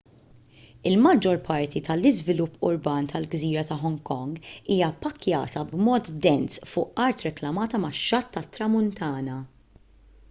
il-maġġor parti tal-iżvilupp urban tal-gżira ta' hong kong hija ppakkjata b'mod dens fuq art reklamata max-xatt tat-tramuntana